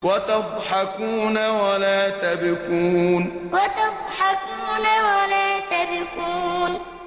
وَتَضْحَكُونَ وَلَا تَبْكُونَ وَتَضْحَكُونَ وَلَا تَبْكُونَ